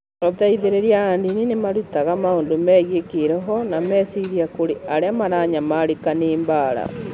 Ateithĩrĩria a ndini nĩ marutaga maũndũ megiĩ kĩĩroho na meciria kũrĩ arĩa maranyamarĩka nĩ mbaara.